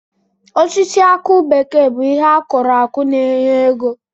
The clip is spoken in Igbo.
Osisi akụ bekee bụ ihe akụrụ akụ na-enye ego.